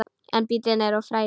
En bíllinn er of frægur.